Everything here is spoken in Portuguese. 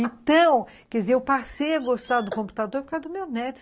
Então, quer dizer, eu passei a gostar do computador por causa do meu neto.